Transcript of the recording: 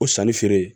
O sanni feere